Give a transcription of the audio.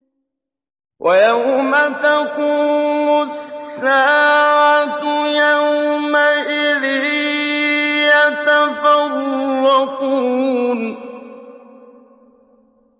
وَيَوْمَ تَقُومُ السَّاعَةُ يَوْمَئِذٍ يَتَفَرَّقُونَ